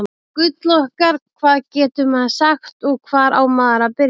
Þetta gull okkar, hvað getur maður sagt og hvar á maður að byrja?